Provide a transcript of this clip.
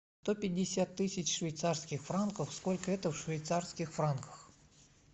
сто пятьдесят тысяч швейцарских франков сколько это в швейцарских франках